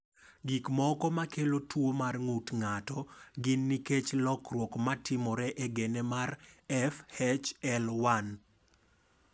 Gik moko ma kelo tuwo mar ng’ut ng’ato gin nikech lokruok ma timore e gene mar FHL1.